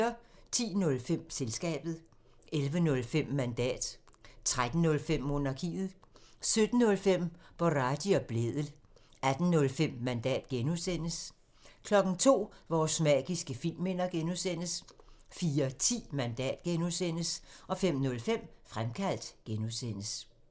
10:05: Selskabet 11:05: Mandat 13:05: Monarkiet 17:05: Boraghi og Blædel 18:05: Mandat (G) 02:00: Vores magiske filmminder (G) 04:10: Mandat (G) 05:05: Fremkaldt (G)